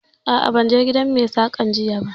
A'a, ban je gidan Mai saƙan jiya ba